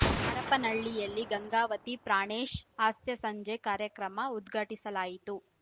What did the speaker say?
ಹರಪನಹಳ್ಳಿಯಲ್ಲಿ ಗಂಗಾವತಿ ಪ್ರಾಣೇಶ್ ಹಾಸ್ಯ ಸಂಜೆ ಕಾರ್ಯಕ್ರಮ ಉದ್ಘಾಟಿಸಲಾಯಿತು